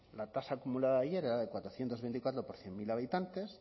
la tasa acumulada de ayer era de cuatrocientos veinticuatro por cien mil habitantes